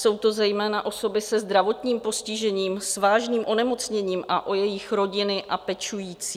Jsou to zejména osoby se zdravotním postižením, s vážným onemocněním a o jejich rodiny a pečující.